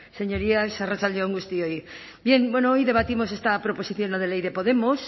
señorías arratsalde on guztioi bien hoy debatimos esta proposición no de ley de podemos